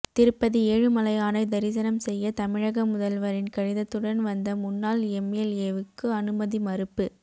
திருப்பதி ஏழுமலையானை தரிசனம் செய்ய தமிழக முதல்வரின் கடிதத்துடன் வந்த முன்னாள் எம்எல்ஏவுக்கு அனுமதி மறுப்பு